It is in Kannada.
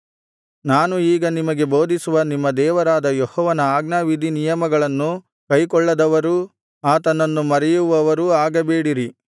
ನಾನು ಈಗ ನಿಮಗೆ ಬೋಧಿಸುವ ನಿಮ್ಮ ದೇವರಾದ ಯೆಹೋವನ ಆಜ್ಞಾವಿಧಿನಿಯಮಗಳನ್ನು ಕೈಕೊಳ್ಳದವರೂ ಆತನನ್ನು ಮರೆಯುವವರೂ ಆಗಬೇಡಿರಿ